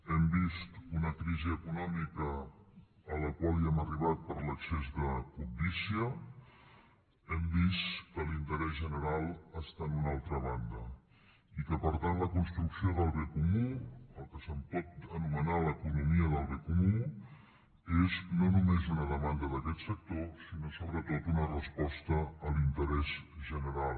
hem vist una crisi econòmica a la qual hem arribat per l’excés de cobdícia hem vist que l’interès general està en una altra banda i que per tant la construcció del bé comú el que se’n pot anomenar l’economia del bé comú és no només una demanda d’aquest sector sinó sobretot una resposta a l’interès general